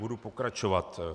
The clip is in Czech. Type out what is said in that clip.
Budu pokračovat.